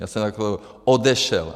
Já jsem jako odešel.